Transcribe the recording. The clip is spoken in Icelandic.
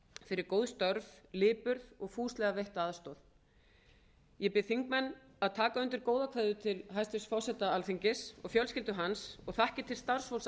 fyrir góð störf lipurð og fúslega veitta aðstoð ég bið þingmenn að taka undir góðar kveðjur til hæstvirts forseta alþingis og fjölskyldu hans og þakkir til starfsfólks